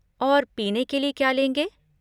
और पीने के लिए क्या लेंगे?